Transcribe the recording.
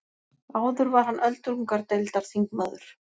Áður var hann öldungadeildarþingmaður